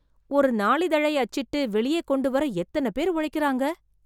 ஒரு நாளிதழை அச்சிட்டு, வெளியே கொண்டுவர எத்தனை பேர் உழைக்கறாங்க...